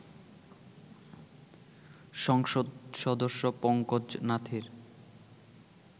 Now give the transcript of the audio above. সংসদ সদস্য পঙ্কজ নাথের